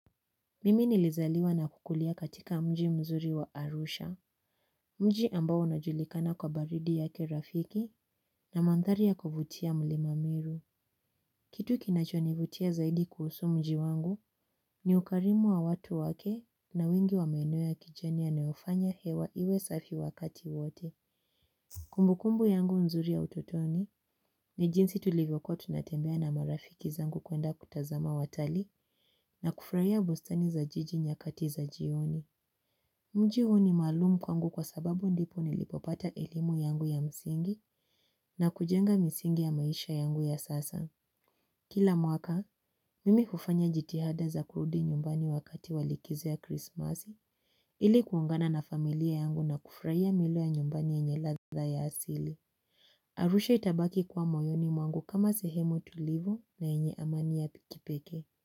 Mimi nilizaliwa na kukulia katika mji mzuri wa Arusha. Mji ambao unajulikana kwa baridi yake rafiki na mandhari ya kuvutia mlima miru. Kitu kinachonivutia zaidi kuhusu mji wangu ni ukarimu wa watu wake na wingi wa maeneo ya kijani yanayofanya hewa iwe safi wakati wote. Kumbukumbu yangu nzuri ya utotoni ni jinsi tulivyokuwa tunatembea na marafiki zangu kuenda kutazama watalii na kufurahia bustani za jiji nyakati za jioni. Mji huu ni maalumu kwangu kwa sababu ndipo nilipopata elimu yangu ya msingi na kujenga misingi ya maisha yangu ya sasa. Kila mwaka, mimi hufanya jitihada za kurudi nyumbani wakati wa likizo ya krismasi ili kuungana na familia yangu na kufurahia mila ya nyumbani yenye ladha ya asili. Arusha itabaki kuwa moyoni mwangu kama sehemu tulivu na yenye amani ya kipekee.